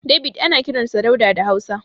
David ana kiransa Dauda da Hausa.